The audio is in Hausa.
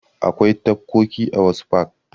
Akwai tafkoki a wasu fak.